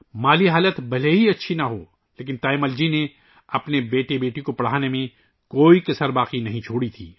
مالی حالت بھلے اچھی نہ ہو لیکن تایّمل جی نے اپنے بیٹے اور بیٹی کو تعلیم دلانے میں کوئی کسر نہیں چھوڑی